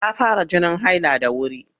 Ta fara jinin haila da wuri.